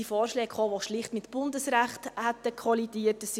Es kamen Vorschläge, die schlicht mit Bundesrecht kollidiert hätten.